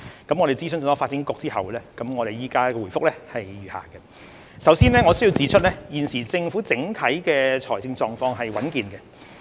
經諮詢發展局後，我現回覆如下：首先，我須指出，現時政府整體財政狀況是穩健的。